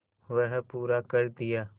वह पूरा कर दिया